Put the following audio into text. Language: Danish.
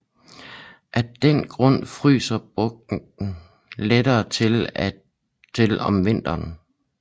Af den grund fryser bugten lettere til om vinteren